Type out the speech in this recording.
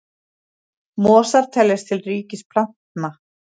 Mosar teljast til ríkis plantna.